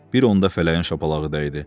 Bir onda fələyin şapalağı dəydi.